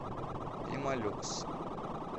пемолюкс